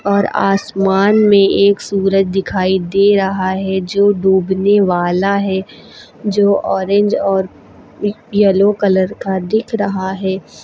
और आसमान में एक सूरज दिखाई दे रहा है जो डूबने वाला है जो ऑरेंज और येलो कलर का दिख रहा है।